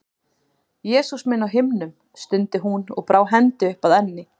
Jesús minn á himnum, stundi hún og brá hendi upp að enni.